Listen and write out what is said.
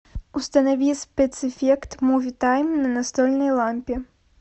установи спецэффект муви тайм на настольной лампе